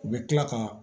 U bɛ tila ka